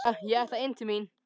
Jæja, ég ætla inn til mín.